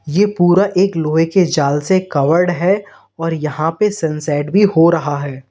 यह पूरा एक लोहे के जाल से कवर्ड है और यहां पे सनसेट भी हो रहा है।